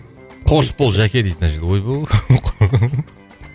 қош бол жәке дейді мына жерде